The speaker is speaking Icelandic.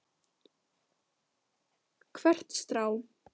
Hvert strá.